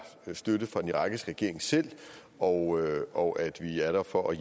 støtte fra den irakiske regering selv og og at vi er der for at